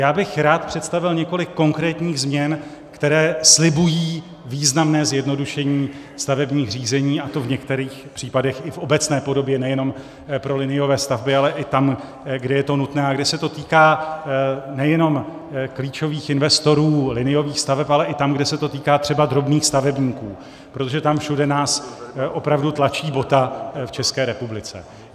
Já bych rád představil několik konkrétních změn, které slibují významné zjednodušení stavebních řízení, a to v některých případech i v obecné podobě, nejenom pro liniové stavby, ale i tam, kde je to nutné a kde se to týká nejenom klíčových investorů liniových staveb, ale i tam, kde se to týká třeba drobných stavebníků, protože tam všude nás opravdu tlačí bota v České republice.